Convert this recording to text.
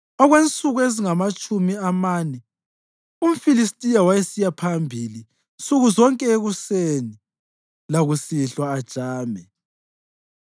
Okwensuku ezingamatshumi amane umFilistiya wayesiya phambili nsuku zonke ekuseni lakusihlwa ajame.